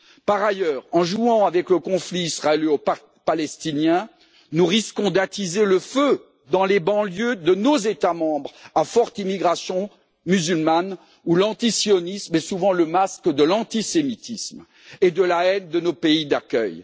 Par ailleurs, en jouant avec le conflit israélo palestinien, nous risquons d'attiser le feu dans les banlieues de nos États membres à forte immigration musulmane où l'antisionisme est souvent le masque de l'antisémitisme et de la haine de nos pays d'accueil.